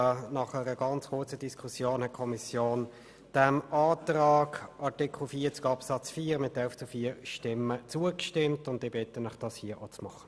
Nach einer sehr kurzen Diskussion hat die Kommission dem Antrag mit 11 zu 4 Stimmen zugestimmt, und ich bitte Sie, dies hier ebenso zu tun.